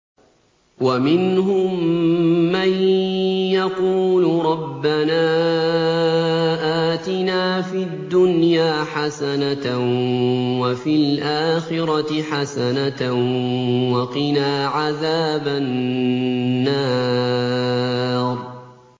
وَمِنْهُم مَّن يَقُولُ رَبَّنَا آتِنَا فِي الدُّنْيَا حَسَنَةً وَفِي الْآخِرَةِ حَسَنَةً وَقِنَا عَذَابَ النَّارِ